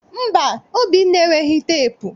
Mba, Obinna enweghị teepu